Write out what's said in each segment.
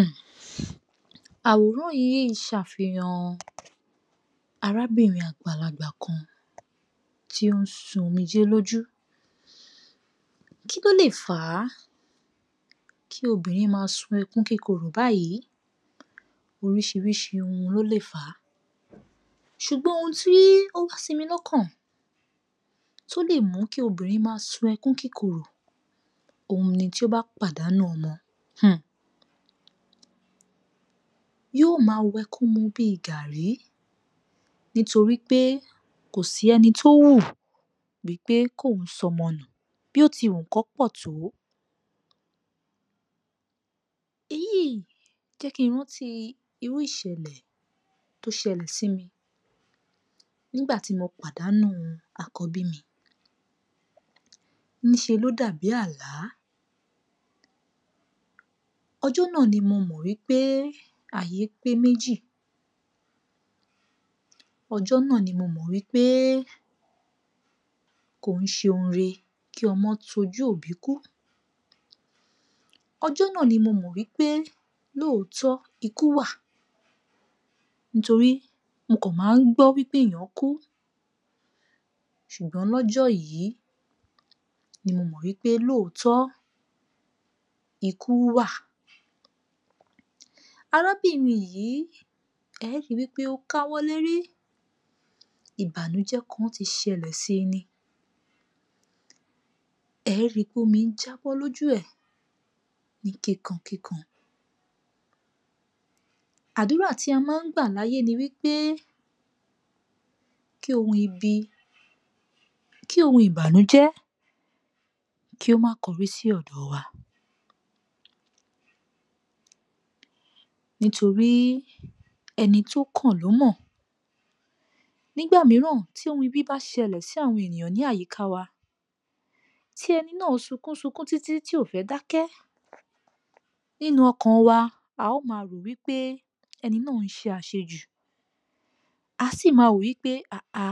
um àwòrán yìí ṣàfihàn arábìnrin àgbàlagbà kan, tí ó ń sun omijé lójú, kí ló lè fà á kí obìnrn máa sun ẹkún kíkorò báyìí, oríṣiríṣi ohun ló lè fà á. Ṣùgbọ́n ohun tí ó wá sí mi lọ́kàn tí ó lè mú kí obìnrin máa sun ẹkùn kíkorò, òhun ni tí ó bá pàdánù ọmọ, [um]yóò máa wẹkún mu bí i gaàrí, nítorí pé kò sí ẹni tó wù wípé kóun sọmọ nù, bó ti wù kán pọ̀ tó, èyí yìí jẹ́ kí n rántí irú ìṣèlè tó ṣẹlẹ̀ sí mi, nígbà tí mo pàdánù àkọ́bí mi, níṣe ló dàbí àlá, ọjọ́ náà ni mo mọ̀ wípé ayé pé méjì, ọjọ́ náà ni mo mọ̀ wípé kò ń ṣe ohun ire kí ọmọ tojú òbí kú. Ọjọ́ náà ni mo mọ̀ wípé lóòtọ́ ikú wà, nítorí mó kàn máa ń gbọ́ wípé èèyàn kú, ṣùgbọ́n lọ́jọ́ yìí ni mo mọ̀ wípé lóòtọ́ ikú wà. Arábìnrin yìí, e ó ri wípé ó káwọ́ lérí, ìbànújẹ́ kan ti ṣẹlẹ̀ si ni. È é ri wípé omi ń jàbọ̀ lójú ẹ̀ ní kíkan kíkan. Àdúrà tí a máa ń gbà láyé ni wípe, kí ohun ibi, kí ohun ìbànújẹ́ kí ó má kọrí sí ọ̀dọ̀ wa. Nítorí ẹni tó kàn ló mọ̀, nígbà mìíràn tí ohun ibi bá ṣẹlẹ̀ sí àwọn èèyàn ní àyíká wa, tí ẹni náà sunkún sunkún títí tí ò fẹ́ dákẹ́, nínú ọkàn wa, a ó máa rò ó wípé ẹni náà ń ṣe àṣejù, à á sì máa wò ó wípé haà,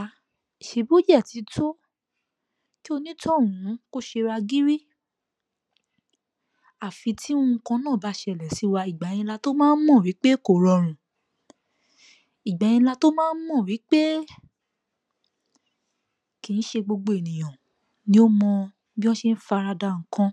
ṣe bò dẹ̀ ti tó, kí onítọ̀hún kó ṣera gírí, àfi tí nǹkan náà bá ṣẹlẹ̀ sí wa ìgbà yẹn la tó máa ń mọ̀ wípé kò rọrùn, ìgbà yẹn la tó máa ń mọ̀ wípé kì í ṣe gbogbo ènìyàn ni ó mọ bí wọ́n ṣe ń fara da nǹkan